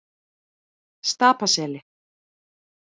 Stapaseli